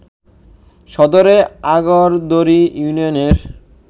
সদরের আগরদড়ি ইউনিয়নের